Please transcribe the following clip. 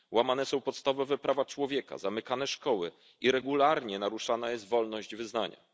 Łamane są podstawowe prawa człowieka, zamykane szkoły i regularnie naruszana jest wolność wyznania.